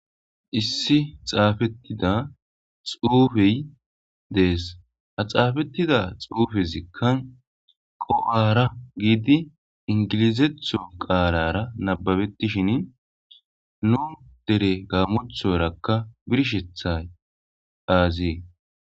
issi xaafettida xuufey dees ha xaafettida xuufezikka qo7ara giidi ingilizetho qaalara nababetishin nu dere gaammothorakka birshethay aazie